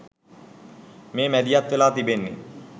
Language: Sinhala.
මේ මැදිහත් වෙලා තිබෙන්නේ.